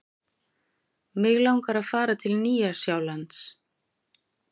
Mig langar að fara til Nýja-Sjálands.